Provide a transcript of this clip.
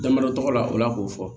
Damadɔ tɔgɔ la o la k'o fɔ